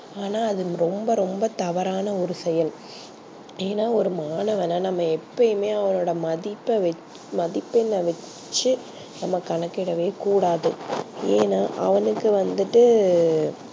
ஆனா அது ரொம்ப ரொம்ப தவறான ஒரு செயல் ஏனா ஒரு மாணவன எப்பையுமே அவனோட மதிப்ப மதிப்பெண் வச்சி நம்ப கணக்கிடவே கூடாது ஏனா அவனுக்கு வந்துட்டு